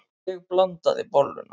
Ég blandaði bolluna.